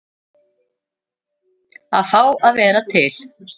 Að fá að vera til.